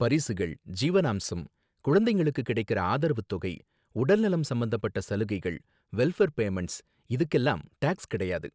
பரிசுகள், ஜீவனாம்சம், குழந்தைங்களுக்கு கிடைக்கற ஆதரவு தொகை, உடல்நலம் சம்பந்தப்பட்ட சலுகைகள், வெல்ஃபர் பேமண்ட்ஸ், இதுக்கெல்லாம் டாக்ஸ் கிடையாது.